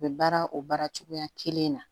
U bɛ baara o baara cogoya kelen na